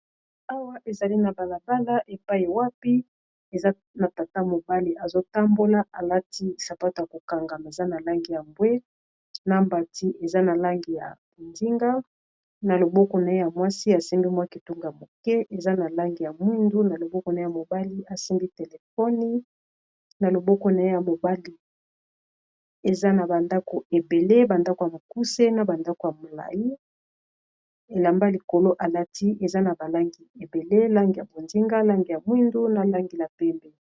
Awa ezali na balabala, epai wapi eza na tata mobali azotambola. Alati sapato ya kokangama, eza na langi ya mbwe ; na mbati eza na langi ya bonzinga. Na loboko na ye ya mwasi, asimbi mwa kitunga mokie eza na langi ya mwindu. Na loboko na ye ya mobali, asimbii telefoni. Na loboko naye ya mobali, eza na bandako ebele ! Bandako ya mokuse, na bandako ya molai. Elamba likolo alati, eza na balangi ebele. Langi ya bonsinga, langi ya mwindu, na langi ya pembe.